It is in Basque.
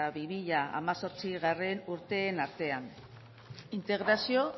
bi mila hemezortzi urteen artean integrazio